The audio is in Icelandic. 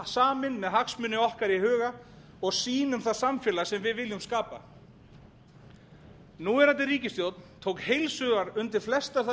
samin með hagsmuni okkar í huga og sýn um það samfélag sem við viljum skapa núverandi ríkisstjórn tók heils hugar undir flestar þær